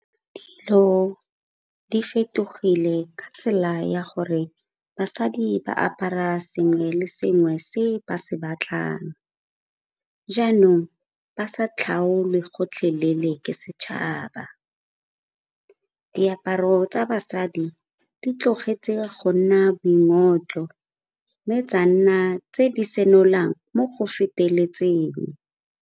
Dilo di fetogile ka tsela ya gore basadi ba apara sengwe le sengwe se ba se batlang, jaanong ba sa tlhakole gotlhelele leele ke setšhaba. Diaparo tsa basadi di tlogetse go nna boingotlo mme tsa nna tse di senolang mo go feteletseng.